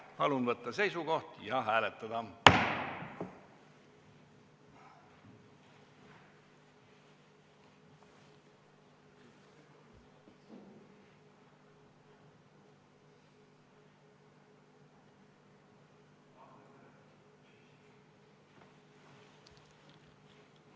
Palun võtta seisukoht ja hääletada!